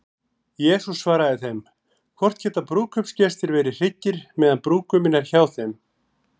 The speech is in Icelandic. Jesús svaraði þeim: Hvort geta brúðkaupsgestir verið hryggir, meðan brúðguminn er hjá þeim?